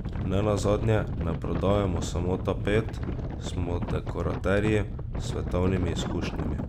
Nenazadnje ne prodajamo samo tapet, smo dekoraterji s svetovnimi izkušnjami.